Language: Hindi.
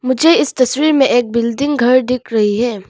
मुझे इस तस्वीर में एक बिल्डिंग घर दिख रही है।